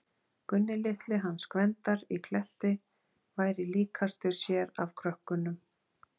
Gunni litli hans Gvendar í Kletti væri líkastur sér af krökkunum.